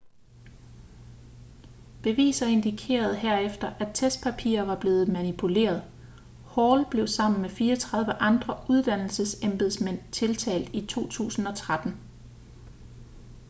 beviser indikerede herefter at testpapirer var blevet manipuleret hall blev sammen med 34 andre uddannelsesembedsmænd tiltalt i 2013